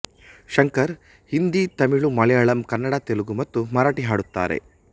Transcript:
ಶಂಕರ್ ಹಿಂದಿ ತಮಿಳು ಮಲಯಾಳಮ್ ಕನ್ನಡ ತೆಲುಗು ಮತ್ತು ಮರಾಠಿ ಹಾಡುತ್ತಾರೆ